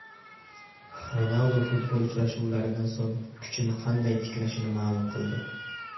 Ronaldu futbol uchrashuvlaridan so‘ng kuchini qanday tiklashini ma’lum qildi.